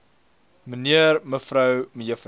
mnr mev me